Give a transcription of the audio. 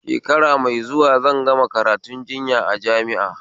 Shekara mai zuwa zan gama karatun jinya a jami'a